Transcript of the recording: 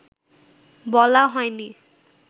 বলা হয়নি